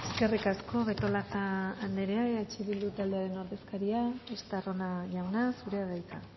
eskerrik asko betolaza anderea eh bildu taldearen ordezkaria estarrona jauna zurea da hitza